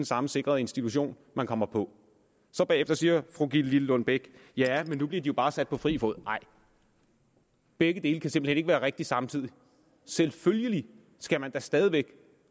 samme sikrede institution man kommer på så bagefter siger fru gitte lillelund bech ja men nu bliver de jo bare sat på fri fod nej begge dele kan simpelt hen ikke være rigtigt samtidig selvfølgelig skal man da stadig væk